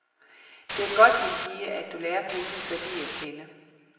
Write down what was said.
Det er godt min pige, at du lærer penges værdi at kende.